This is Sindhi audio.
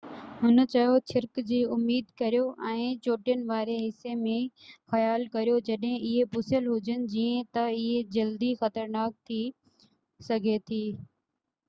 هن چيو ڇرڪ جي اميد ڪريو ۽ چوٽين واري حصي م خيال ڪريو جڏهن اهي پُسيل هجن جيئن تہ اهي جلدي خطرناڪ ٿي سگهي ٿي